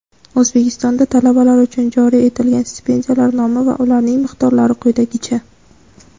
O‘zbekistonda talabalar uchun joriy etilgan stipendiyalar nomi va ularning miqdorlari quyidagicha:.